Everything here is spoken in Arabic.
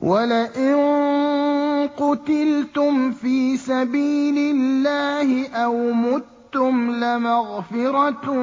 وَلَئِن قُتِلْتُمْ فِي سَبِيلِ اللَّهِ أَوْ مُتُّمْ لَمَغْفِرَةٌ